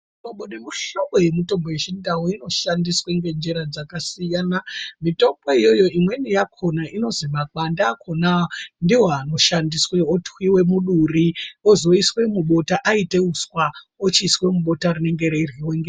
Muhlobo nemuhlobo yemitombo yechindau inoshandiswa ngenjira dzakasiyana mitombo iyoyo imweni yakona inozwi makwande akona ndiwo anoshandiswa otwiwe muduri ozoiswe mubota aite uswa ochiiswe mubota rinenge reiryiwa.